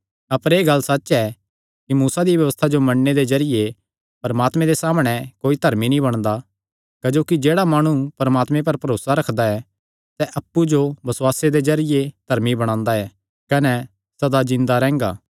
अपर एह़ गल्ल सच्च ऐ कि मूसा दिया व्यबस्था जो मन्नणे दे जरिये परमात्मे दे सामणै कोई धर्मी नीं बणदा क्जोकि जेह्ड़ा माणु परमात्मे पर भरोसा रखदा ऐ सैह़ अप्पु जो बसुआसे दे जरिये धर्मी बणांदा ऐ कने सदा जिन्दा रैंह्गा